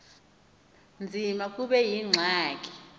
nzima kube yingxaki